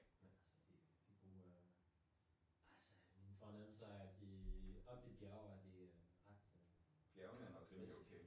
Men altså det det gode er altså min fornemmelse er at i oppe i bjerge er det ret frisk